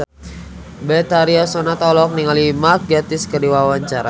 Betharia Sonata olohok ningali Mark Gatiss keur diwawancara